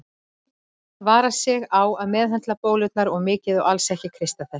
Vara sig á að meðhöndla bólurnar of mikið og alls ekki kreista þær.